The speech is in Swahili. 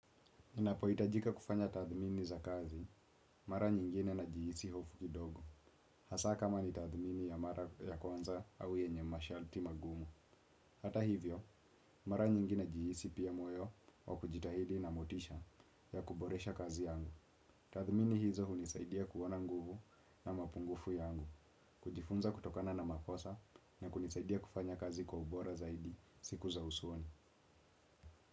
Napohitajika kufanya tathmini za kazi, mara nyingine najihisi hofu kidogo. Hasa kama ni tathmini ya mara ya kwanza au yenye masharti magumu. Hata hivyo, mara nyingi najihisi pia moyo wa kujitahidi na motisha ya kuboresha kazi yangu. Tathmini hizo hunisaidia kuona nguvu au mapungufu yangu. Kujifunza kutokana na makosa na kunisaidia kufanya kazi kwa ubora zaidi siku za usoni.